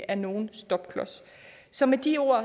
er nogen stopklods så med de ord